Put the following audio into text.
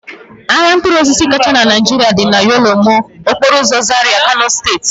Ahịa mkpụrụosisi kachasị na Naijiria dị na Yanlemo, okporoụzọ Zaria, Kano steeti